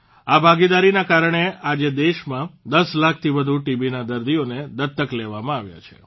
આ ભાગીદારીના કારણે આજે દેશમાં 10 લાખથી વધુ ટીબીના દર્દીઓને દત્તક લેવામાં આવ્યા છે